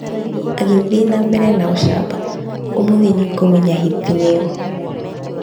Agĩthiĩ na mbere na ũcamba, "Ũmũthĩ nĩ ũkũmenya hiti nĩ ũũ."